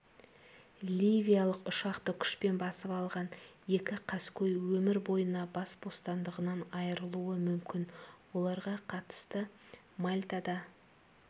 ливиялық ұшақты күшпен басып алған екі қаскөй өмір бойына бас бостандығынан айырылуы мүмкін оларға қатысты мальтада